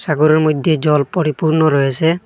সাগরের মইধ্যে জল পরিপূর্ণ রয়েসে ।